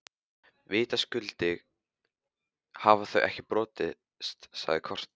Vitaskuld hafa þau ekki borist, sagði Kort.